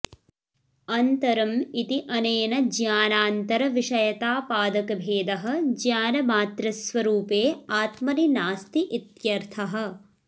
अन्तरं इति अनेन ज्ञानान्तरविषयतापादकभेदः ज्ञानमात्रस्वरूपे आत्मनि नास्ति इत्यर्थः